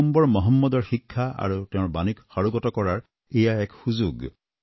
পয়গম্বৰ মহম্মদৰ শিক্ষা আৰু তেওঁৰ বাণীক সাৰোগত কৰাৰ এয়া এক সুযোগ